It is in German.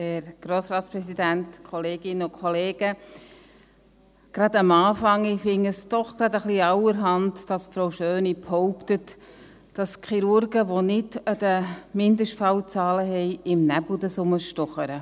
Gleich zu Beginn: Ich finde es etwas allerhand, wenn Frau Schöni behauptet, dass Chirurgen, die nicht die Mindestfallzahlen vorweisen können, im Nebel herumstochern.